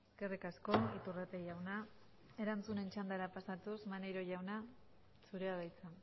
eskerrik asko iturrate jauna erantzunen txandara pasatuz maneiro jauna zurea da hitza